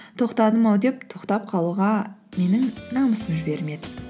тоқтадым ау деп тоқтап қалуға менің намысым жібермеді